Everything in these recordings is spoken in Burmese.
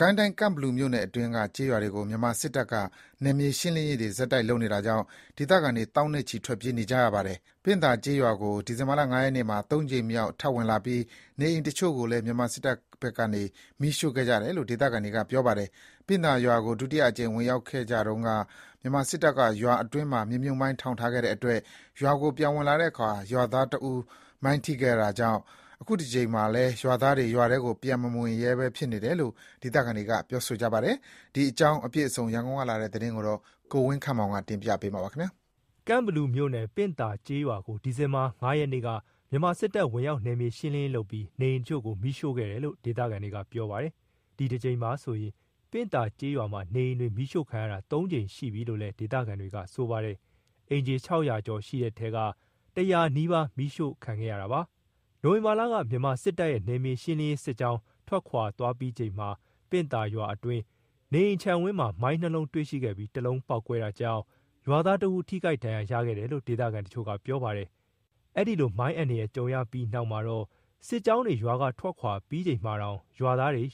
ကိုင်းတိုင်း ကန့်ဘလူမြို့နယ်အတွင်းက ကျေးရွာတွေကို မြန်မာစစ်တပ်က ဆက်တိုက် နယ်မြေရှင်းလင်းနေတာကြောင့် ဒေသခံတွေ သောင်းနဲ့ချီ ထွက်ပြေးနေကြရပါတယ်။ ပင့်သာကျေးရွာကို ဒီဇင်ဘာ ၅ ရက်နေ့မှာ ၃ ကြိမ်မြောက် ထပ်ဝင်လာပြီး နေအိမ်တချို့ကိုလည်း မြန်မာစစ်တပ်ဘက်က မီးရှို့ခဲ့ကြတယ်လို့ ဒေသခံတွေက ပြောကြပါတယ်။ ပင့်သာရွာကို ဒုတိယအကြိမ်ဝင်ရောက်ခဲ့ကြတုန်းက မြန်မာစစ်တပ်က ရွာအတွင်းမှာ မြေမြှုပ်မိုင်းထောင်ထားခဲ့လို့ ရွာကို ပြန်ဝင်ကြတဲ့အခါ ရွားသားတဦး မိုင်းထိခဲ့တာကြောင့် ခုတကြိမ်မှာ ရွာသားတွေ ရွာထဲကို ပြန်မဝင်ရဲကြဘူးလို့ ဒေသခံတွေက ဆိုကြပါတယ်။ ဒီအကြောင်း အပြည့်အစုံ ရန်ကုန်က လာတဲ့သတင်းကို ကိုဝင်းခန့်မောင်က တင်ပြထားပါတယ်။ ကန့်ဘလူမြို့နယ် ပင့်သာကျေးရွာကို ဒီဇင်ဘာ ၅ ရက်နေ့ မြန်မာစစ်တပ်က ဝင်ရောက် နယ်မြေရှင်းလင်းရေးလုပ်ပြီး နေအိမ်တချို့ကို မီးရှို့ခဲ့တယ်လို့ ဒေသခံတွေက ပြောပါတယ်။ ဒီတကြိမ်ပါဆိုရင် ပင့်သာကျေးရွာမှာ နေအိမ်တွေ မီးရှို့ခံရတာ ၃ ကြိမ်ရှိပြီလို့လည်း ဒေသခံတွေက ပြောပါတယ်။ အိမ်ခြေ ၆၀၀ ကျော်ရှိတဲ့ထဲက ၁၀၀ နီးပါး မီးရှို့ခံခဲ့ရတာဖြစ်ပါတယ်။ နိုဝင်ဘာလက မြန်မာစစ်တပ်ရဲ့ နယ်မြေရှင်းလင်းရေးစစ်ကြောင်း ထွက်သွားပြီးချိန်မှာ ပင့်သာရွာအတွင်းက နေအိမ်ခြံဝင်းမှာ မိုင်း၂ လုံး တွေ့ရှိခဲ့ပြီး တလုံးပေါက်ကွဲခဲ့တာကြောင့် ရွာသားတဦး ထိခိုက်ဒဏ်ရာရခဲ့တယ်လို့ ဒေသခံတချို့က ပြောပါတယ်။ အဲ့ဒီလို မိုင်းအန္တရာယ်ကို ကြုံရပြီးနောက် ရွာသားတွေက စစ်ကြောင်းတွေ ရွာက ထွက်ပြီးချိန်မှာတောင် ရွာထဲကို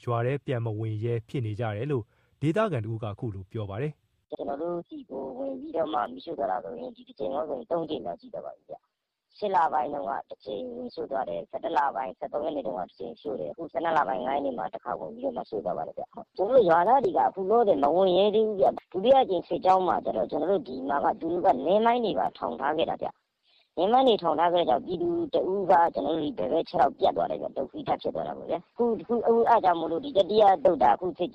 ပြန်မဝင်ရဲ ဖြစ်နေကြတယ်လို့ ဒေသခံတဦးက ခုလိုပြောပါတယ်။ “ကျနော်တို့ဆီကို ဝင်ပြီး မီးရှို့တာဆိုရင် ဒီတကြိမ်နဲ့ဆို ၃ ကြိမ်ရှိသွားပါပြီဗျ။ ၈ လ ပိုင်းတုန်းက တကြိမ်၊ ၁၁ လပိုင်း ၁၃ ရက်နေ့တုန်းက တကြိမ် ရှို့တယ်။ အခု ၁၂ လပိုင်း ၅ ရက်နေ့မှာ တကြိမ်ဝင်ပြီးတော့မှ ရှို့သွားပါတယ်ခင်ဗျ။ ကျနော်တို့ ရွာသားတွေက ခုလောလောဆယ် ရွာထဲကို ပြန်မဝင်ရဲသေးဘူးဗျ။ ဒုတိယတကြိမ်စစ်ကြောင်းမှာက သူတို့က နင်းမိုင်းတွေပါ ထောင်ထားခဲ့တာဗျ။ နင်းမိုင်း ထောင်ထားခဲ့တော့ ပြည်သူတဦးက ခြေထောက်ပြတ်သွားတာဗျ၊ ဒုက္ခိတ ဖြစ်သွားတာပေါ့ဗျာ။ အဲ့ဒါကြောင့်မို့လို့ ခုစစ်ကြောင်းက အခု ချ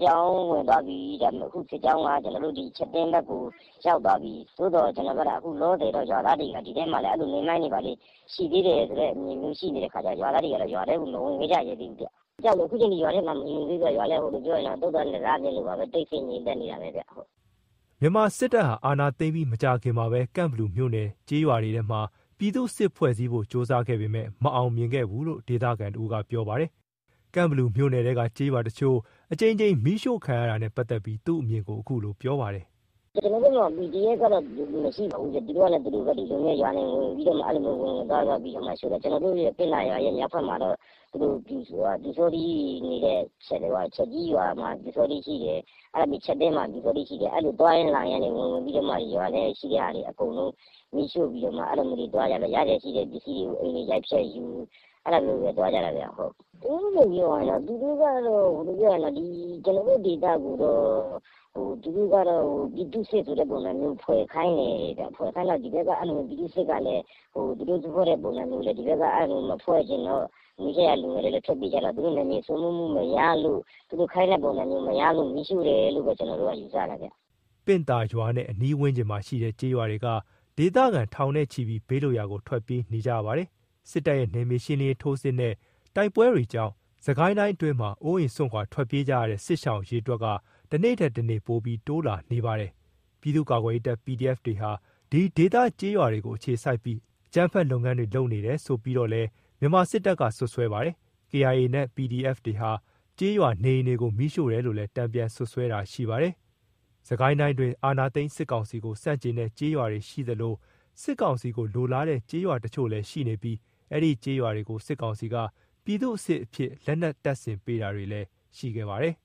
ပ်သင်းဘက်ကို ရောက်သွားပြီ။ သို့သော် အခုလောလောဆယ် ရွာသားတွေက အဲ့လို နင်းမိုင်းတွေ ဘာတွေ ရှိနေသေးတယ်ဆိုတဲ့ အမြင်မျိုးရှိတော့ ရွာထဲကို ပြန်မဝင်ရဲကြသေးဘူးဗျ။ ရွာထဲကို ပြန်မဝင်ရဲ ကြဘူးဆိုတော့ ခုတော့ ရွာကလည်း သုဿာန်တစပြင်လိုပဲ တိတ်ဆိတ်ငြိမ်သက်နေတာပဲဗျ။” မြန်မာစစ်တပ်က အာဏာသိမ်းပြီး မကြာခင်မှာပဲ ကန့်ဘလူမြို့နယ်ထဲက ကျေးရွာတွေမှာ ပြည်သူ့စစ်ဖွဲ့စည်းဖို့ ကြိုးစားခဲ့ပေမဲ့ မအောင်မြင်ခဲ့ဘူးလို့ ဒေသခံတဦးက ပြောပြပါတယ်။ ကန့်ဘလူမြို့နယ်ထဲက ကျေးရွာတချို့ အကြိမ်ကြိမ် မီးရှို့ခံနေရတာနဲ့ ပတ်သက်ပြီး သူ့အမြင်ကို ခုလို ပြောပြပါတယ်။ “ကျနော်တို့ ရွာတွေမှာ PDF တွေလို့တော့ မရှိပါဘူးဗျ။ သူတို့က ရွာတွေကို အဲ့လိုဝင်ပြီး သွားပြီးတော့ ရှို့နေတာ။ ကျနော်တို့ ပင့်သာရွာရဲ့ မြောက်ဘက်မှာတော့ ပျူစောထီးတွေနေတဲ့ ချက်ကြီးရွာမှာ ပျူစောထီး ရှိတယ်။ ချပ်သင်းမှာ ပျူစောထီး ရှိတယ်။ အဲ့လို သွားရင်းလာရင်းကနေ ဝင်ဝင်ပြီးတော့မှ ရွာထဲရှိတဲ့ဟာတွေ အကုန်လုံး မီးရှို့ပြီးတော့မှ ရစရာရှိတဲ့ပစ္စည်းတွေကို အိမ်တွေ ရိုက်ဖျက်ယူ၊ အဲ့ဒါမျိုးပဲ သွားကြတာဗျ။ ပြောရရင်တော့ ကျနော်တို့ ဒေသကိုတော့ ပြည်သူ့စစ်ဆိုတဲ့ ပုံစံမျိုးတော့ ဖွဲ့ခိုင်းတယ်ဗျ။ ဖွဲ့ခိုင်းတော့ ဒီဘက်က ပြည်သူ့စစ်ကလည်း ဒီဘက်ကမဖွဲ့ချင်တော့ နီးစပ်ရာကို လူငယ်တွေကလည်း ထွက်ပြေးကြတော့ သူတို့နယ်မြေစိုးမိုးမှုမရလို့ သူတို့ ခိုင်းတဲပုံစံမျိုး မရလို့ မီးရှို့တယ်လို့ပဲ ကျနော်တို့ ယူဆတယ်ဗျ။” ပင့်သာရွာနဲ့ အနီးဝန်းကျင်မှာ ရှိကြတဲ့ ကျေးရွာတွေက ဒေသခံ ထောင်နဲ့ချီပြီး ဘေးလွတ်ရာကို ထွက်ပြေးနေကြရပါတယ်။ စစ်တပ်ရဲ့ နယ်မြေရှင်းလင်းရေး ထိုးစစ်နဲ့ တိုက်ပွဲတွေကြောင့် စစ်ကိုင်းအတွင်းမှာ အိုးအိမ် စွန့်ခွာ ထွက်ပြေးနေကြရတဲ့ စစ်ရှောင် အရေအတွက်က တနေ့ထက်တနေ့ ပိုပြီး တိုးလာနေပါတယ်။ ပြည်သူ့ ကာကွယ်ရေးတပ် PDF တွေဟာ ဒီဒေသ ကျေးရွာတွေကိုအခြေစိုက်ပြီး အကြမ်းဖက်လုပ်ငန်းတွေ လုပ်နေတယ် ဆိုပြီးတော့လည်း မြန်မာစစ်တပ်က စွပ်စွဲပါတယ်။ KIA နဲ့ PDF တွေဟာ ကျေးရွာနေအိမ်တွေကို မီးရှို့တယ်လို့လည်း တန်ပြန်စွပ်စွဲတာ ရှိပါတယ်။ စစ်ကိုင်းတိုင်းအတွင်း အာဏာသိမ်းစစ်ကောင်စီကို ဆန့်ကျင်တဲ့ ကျေးရွာတွေရှိသလို စစ်ကောင်စီကိုလိုလားတဲ့ ကျေးရွာတချို့လည်းရှိနေပြီး အဲဒီကျေးရွာတွေကို စစ်ကောင်စီက ပြည်သူ့စစ်အဖြစ် လက်နက်တပ်ဆင် ပေးတာတွေလည်း ရှိခဲ့ပါတယ်